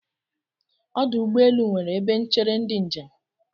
Ọdụ ụgbọelu nwere ebe n̄chere ndị njem.